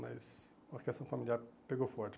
Mas a questão familiar pegou forte.